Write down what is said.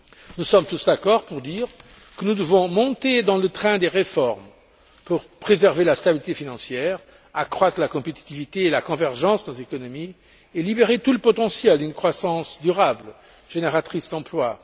Nous sommes tous d'accord pour dire que nous devons monter dans le train des réformes pour préserver la stabilité financière, accroître la compétitivité et la convergence de nos économies et libérer tout le potentiel d'une croissance durable génératrice d'emplois.